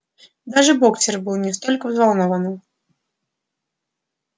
даже боксёр был несколько взволнован